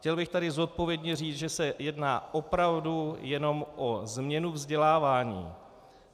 Chtěl bych tady zodpovědně říct, že se jedná opravdu jenom o změnu vzdělávání.